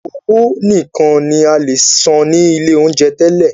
Owó nìkan ní a lè san ní ilé oúnjẹ tẹ́lẹ̀.